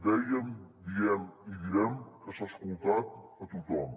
dèiem diem i direm que s’ha escoltat a tothom